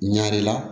Ɲare la